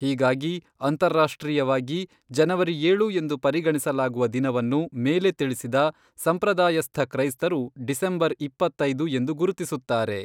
ಹೀಗಾಗಿ, ಅಂತಾರಾಷ್ಟ್ರೀಯವಾಗಿ ಜನವರಿ ಏಳು ಎಂದು ಪರಿಗಣಿಸಲಾಗುವ ದಿನವನ್ನು ಮೇಲೆ ತಿಳಿಸಿದ ಸಂಪ್ರದಾಯಸ್ಥ ಕ್ರೈಸ್ತರು ಡಿಸೆಂಬರ್ ಇಪ್ಪತ್ತೈದು ಎಂದು ಗುರುತಿಸುತ್ತಾರೆ.